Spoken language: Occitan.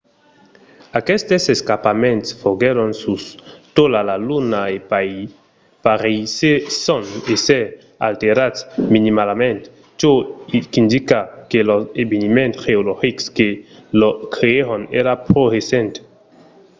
aquestes escarpaments foguèron sus tota la luna e pareisson èsser alterats minimalament çò qu'indica que los eveniments geologics que los creèron èran pro recents